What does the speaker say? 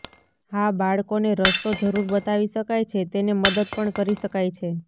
હા બાળકોને રસ્તો જરૂર બતાવી શકાય છે તેને મદદ પણ કરી શકાય છે